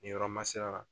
Nin yɔrɔ ma sera